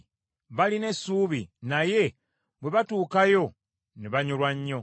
Baalina essuubi naye bwe baatuukayo ne banyolwa nnyo.